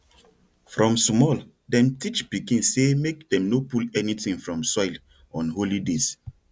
from small dem teach pikin say make dem no pull anything from soil on holy days